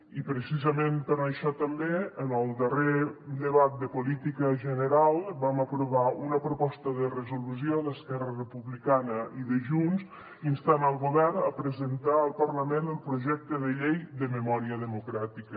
i precisament per això també en el darrer debat de política general vam aprovar una proposta de resolució d’esquerra republicana i de junts que instava el govern a presentar al parlament el projecte de llei de memòria democràtica